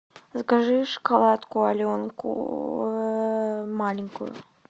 закажи шоколадку аленку маленькую